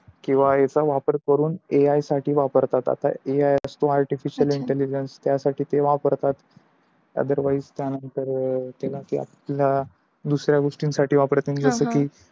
कीव याचा वापर करून AI साठी वापरतात आता AI म्हणजे Artificial Intelligence त्या साठी पण वापरतात. otherwise त्या नंतर अं ते नाही का आपल दुसहऱ्या गोष्टी साठी पण वापरते जस की